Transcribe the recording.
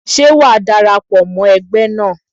Ṣé wàá dara pọ̀ mọ́ ẹgbẹ́ náà?